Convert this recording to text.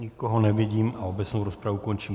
Nikoho nevidím a obecnou rozpravu končím.